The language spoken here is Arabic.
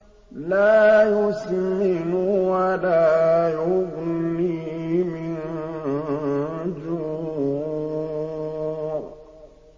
لَّا يُسْمِنُ وَلَا يُغْنِي مِن جُوعٍ